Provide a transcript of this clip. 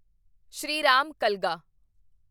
Shriram ਕਲਗਾ